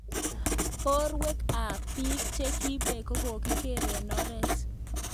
Porwek ap pik che kipek ko kokigor eng oret